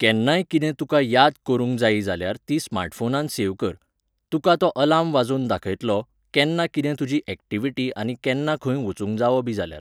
केन्नाय कितें तुका याद करूंक जायी जाल्यार ती स्मार्टफोनांत सेव कर. तुका तो अलार्म वाजोवन दाखयतलो, केन्ना कितें तुजी ऍक्टीवीटी आनी केन्ना खंय वचूंक जावो बी जाल्यार.